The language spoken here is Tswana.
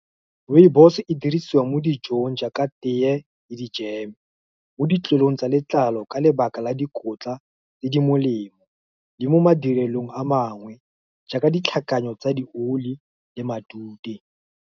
Rooibos e dirisiwa mo dijong, jaaka teye le di-jam-e. Mo ditlolong tsa letlalo, ka lebaka la dikotla tse di molemo, le mo madirelong a mangwe, jaaka ditlhakano tsa di oli le matute.